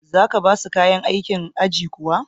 za ka ba su kayan aikin aji kuwa?